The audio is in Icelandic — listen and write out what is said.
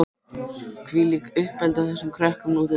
Hvílíkt uppeldi á þessum krökkum nú til dags!